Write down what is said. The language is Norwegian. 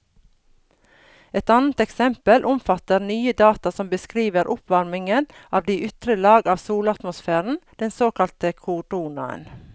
Et annet eksempel omfatter nye data som beskriver oppvarmingen av de ytre lag av solatmosfæren, den såkalte koronaen.